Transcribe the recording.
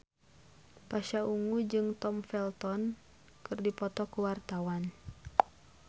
Pasha Ungu jeung Tom Felton keur dipoto ku wartawan